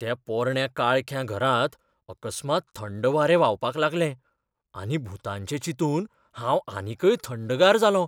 त्या पोरण्या काळख्या घरांत अकस्मात थंड वारें व्हांवपाक लागलें आनी भुतांचें चिंतून हांव आनीकय थंडगार जालों.